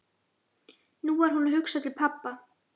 Nú var hún að hugsa til pabba.